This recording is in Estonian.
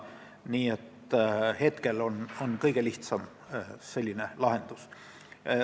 Nii et see on praegu kõige lihtsam lahendus.